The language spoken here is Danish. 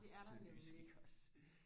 sønderjysk iggås